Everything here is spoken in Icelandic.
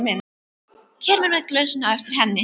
Kemur með glösin á eftir henni.